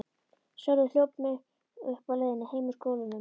Sölvi hljóp mig uppi á leiðinni heim úr skólanum.